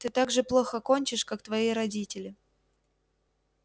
ты так же плохо кончишь как твои родители